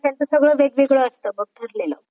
सगळं वेगवेगळं असतं बघ ठरलेलं.